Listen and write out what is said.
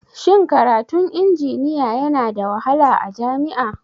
Shin karatun injiniya Yana da wahala a jami'a?